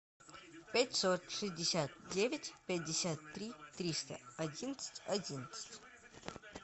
пятьсот шестьдесят девять пятьдесят три триста одиннадцать одиннадцать